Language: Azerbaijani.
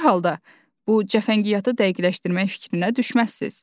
Hər halda bu cəfəngiyatı dəqiqləşdirmək fikrinə düşməzsiniz.